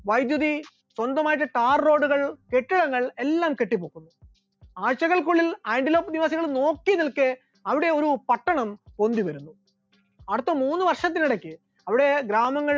വൈദ്യുതി, സ്വന്തമായിട്ട് tar road കൾ, കെട്ടിടങ്ങൾ എല്ലാം കെട്ടിപൊക്കുന്നു, ആഴ്ചകൾക്കുള്ളിൽ ആന്റിലോക്ക് നിവാസികൾ നോക്കി നിൽക്കെ അവിടെ ഒരു പട്ടണം പൊന്തിവരുന്നു, അടുത്ത മൂന്ന് വർഷത്തിനിടക്ക് അവിടെ ഗ്രാമങ്ങൾ